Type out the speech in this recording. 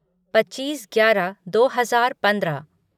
पच्चीस ग्यारह दो हजार पंद्रह